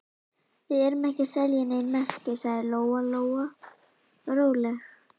Við erum ekki að selja nein merki, sagði Lóa-Lóa rólega.